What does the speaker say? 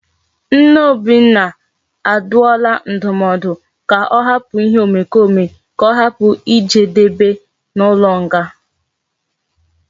Nne obinna aduola ndumodu ka o hapu ihe omekome ka ohapu ijedebe na ulo nga